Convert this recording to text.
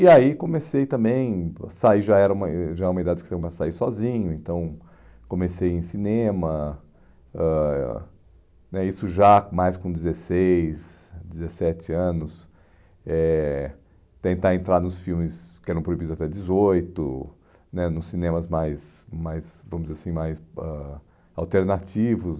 E aí comecei também, sair já era uma ãh já era uma idade que tinha que sair sozinho, então comecei em cinema, ãh né isso já mais com dezesseis, dezessete anos, eh tentar entrar nos filmes que eram proibidos até dezoito né, nos cinemas mais, mais, vamos dizer assim, mais ãh alternativos.